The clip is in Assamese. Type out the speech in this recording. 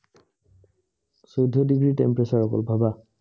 চৈধ্য ডিগ্ৰী temperature অকল ভাবা